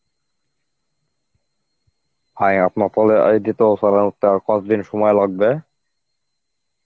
ভাই আপনার তালেউঠতে আর কতদিন সময় লাগবে?